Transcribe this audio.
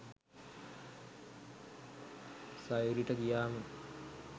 සයුරි ට ගියාම